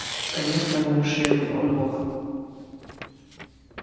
конечно замшелый он бог